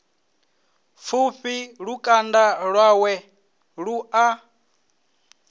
pfushi lukanda lwawe lu a